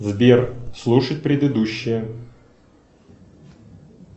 сбер слушать предыдущее